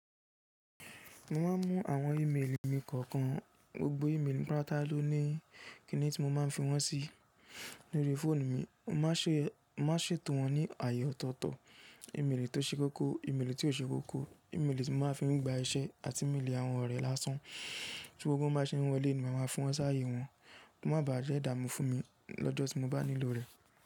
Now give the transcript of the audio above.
Mo máa ń mú àwọn ímélì mi kọ̀ọ̀kan, gbogbo ímélì pátá ló ní Kíni tí mo máa ń fi wọ́n sí. Lórí fóònù mi, mo máa ṣètò wọn ní ààyè ọ̀tọ̀ọ̀tọ̀. Ìmélì tó ṣe kókó, ìmélì tí kò ṣe kókó, ìmélì tí mo máa ń fi gba iṣẹ́ àti ìmélì àwọn ọ̀rẹ́ lásán. Kí gbogbo wọn bá ṣe wọlé ni màá máa fún wọn sáyé wọn. Kò máa bà á jẹ́ ìdààmú fún mi lọ́jọ́ tí mo bá nílò rẹ̀.